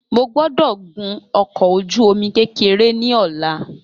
Mo gbọ́dọ̀ gun ọkọ̀ ojú omi kékeré ní ọlá